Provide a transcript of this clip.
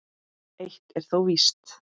Eitt er þó víst.